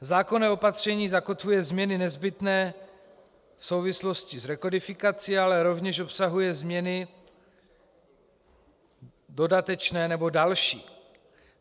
Zákonné opatření zakotvuje změny nezbytné v souvislosti s rekodifikací, ale rovněž obsahuje změny dodatečné nebo další.